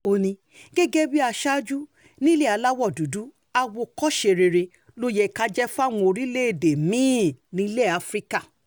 ó ní gẹ́gẹ́ bíi aṣáájú nílé aláwọ̀ dúdú àwòkọ́ṣe rere ló yẹ ká jẹ́ fáwọn orílẹ̀-èdè mi-ín nílẹ̀ afrika